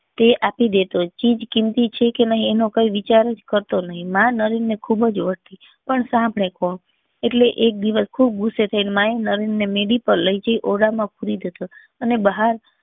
તે આપી દેતો ચીજ કીમતી છે કે નહી એનો કોઈ વિચાર જ કરતો નહી માં નરેન ને ખુબ જ બોલતી પણ સાંભળે કોણ એટલે એક દિવસ ખુબ ગુસ્સે થઇ ને માં એ નરેન ને મેડી પર લઇ જઈ ઓરડા માં પૂરી દીધો અને બહાર